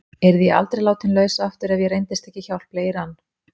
Yrði ég aldrei látin laus aftur ef ég reyndist ekki hjálpleg í rann